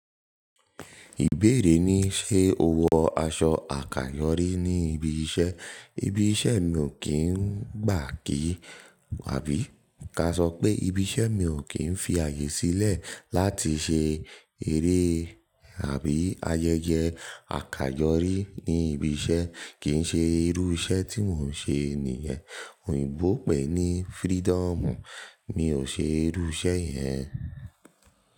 Ìbéèrè ni, ṣe o wọ aṣọ àkàyọ́rí ní ibi iṣẹ́? Ibi iṣẹ́ mi ò kí ń gbà kí, àbí ka sọ pé ibi iṣẹ́ mi ò kí ń fi ààyè sílẹ̀ láti ṣe eré àbí ayẹyẹ àkàyọ́rí ní ibi iṣẹ́, kì ń ṣe irú iṣẹ́ tí mò ń ṣe nìyẹn. Òyìnbó pè é ní “freedom”. Mi ò ṣe irú iṣẹ́ yẹn.